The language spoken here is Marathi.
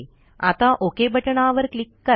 आता ओक बटणावर क्लिक करा